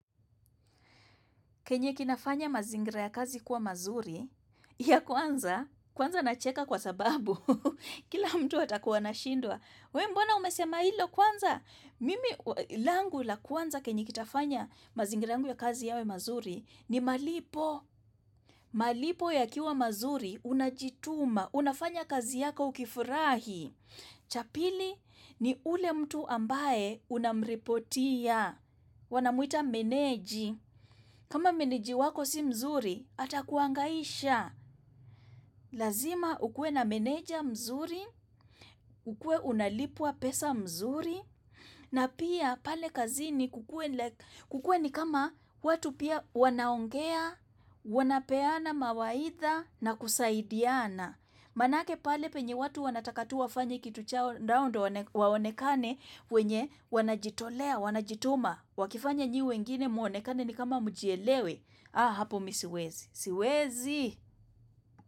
Kenye kinafanya mazingira ya kazi kuwa mazuri, ya kwanza, kwanza na cheka kwa sababu, kila mtu atakuwa na shindwa. We mbwana umesema hilo kwanza? Mimi langu la kwanza kenye kitafanya mazingira ya kazi yawe mazuri ni malipo. Malipo yakiwa mazuri, unajituma, unafanya kazi yako ukifurahi. Cha pili ni ule mtu ambaye unamripotia. Wanamuita meneji. Kama meniji wako si mzuri, atakuangaisha, lazima ukue na meneja mzuri, ukue unalipwa pesa mzuri, na pia pale kazi kukuwe kukue ni kama watu pia wanaongea, wanapeana mawaitha na kusaidiana. Manake pale penye watu wanataka tu wafanye kitu chao ndao hao wawonekane wenye wanajitolea, wanajitoma. Wakifanya nye wengine mwonekane ni kama mjielewe. Ah hapo misiwezi. Siwezi.